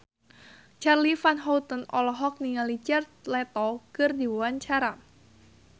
Charly Van Houten olohok ningali Jared Leto keur diwawancara